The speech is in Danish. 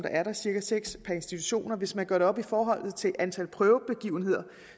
er cirka seks per institution og hvis man gør det op i forhold til antal prøvebegivenheder